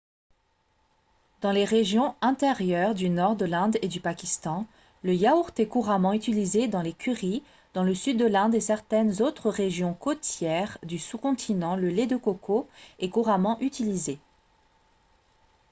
dans les régions intérieures du nord de l'inde et du pakistan le yaourt est couramment utilisé dans les currys dans le sud de l'inde et certaines autres régions côtières du sous-continent le lait de coco est couramment utilisé